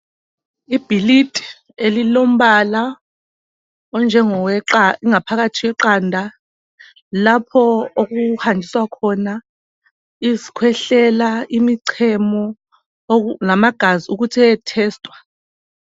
Ibhilidi elilombala onjengowaphakathi kweqanda ,lapho okuhanjiswa khona izikhwehlela, imichemo lamagazi ukuthi eyethesitwa.